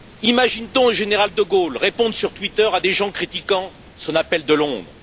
Imagine t on le général de Gaulle répondre sur Twitter à des gens critiquant son appel de Londres?